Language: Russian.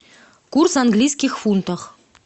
курс английских фунтов